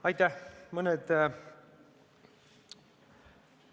Aitäh!